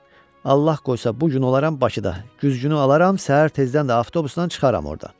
Allah qoysa bu gün olaram Bakıda, güzgünü alaram, səhər tezdən də avtobusdan çıxaram ordan.